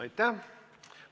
Aitäh!